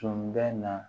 Tun bɛ na